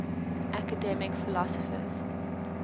academic philosophers